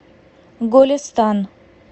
голестан